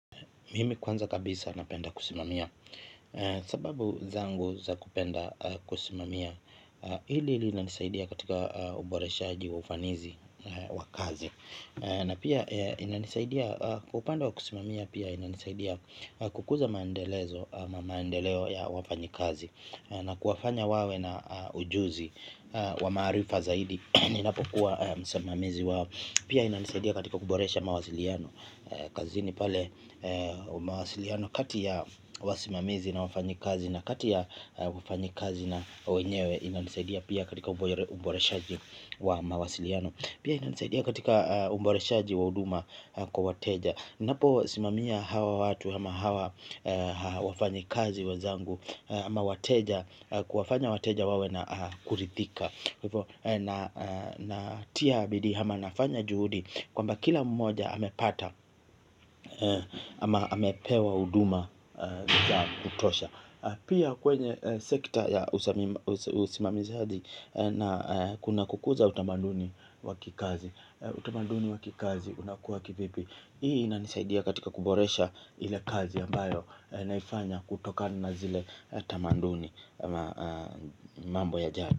Mimi kwanza kabisa napenda kusimamia. Sababu zangu za kupenda kusimamia, hili linanisaidia katika uboreshaji wa ufanisi wa kazi. Na pia inanisaidia kwa upande wa kusimamia pia inanisaidia kukuza maendelezo ama maendeleo ya wafanyikazi. Na kuwafanya wawe na ujuzi wa maarifa zaidi ninapokuwa msimamizi wao. Pia inanisaidia katika kuboresha mawasiliano. Kazini pale mawasiliano kati ya wasimamizi na wafanyikazi na kati ya wafanyikazi na wenyewe inanisaidia pia katika uboreshaji wa mawasiliano pia inanisaidia katika uboreshaji wa huduma kwa wateja, ninapowasimamia hawa watu ama hawa wafanyi kazi wenzangu ama wateja kuwafanya wateja wawe na kuridhika. Natia bidii ama nafanya juhudi kwamba kila mmoja amepata ama amepewa huduma ya kutosha. Pia kwenye sekta ya usimamizadi na kuna kukuza utamanduni wa kikazi. Utamaduni wa kikazi unakuwa kivipi. Hii inanisaidia katika kuboresha ile kazi ambayo naifanya kutokana na zile tamanduni mambo yajayo.